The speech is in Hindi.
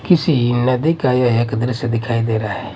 किसी नदी का यह एक दृश्य दिखाई दे रहा है।